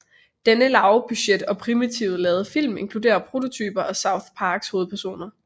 Denne lavbudget og primitivt lavede film inkludere prototyper af South Parks hovedpersoner